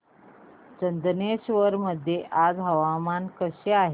चंदनेश्वर मध्ये आज वातावरण कसे आहे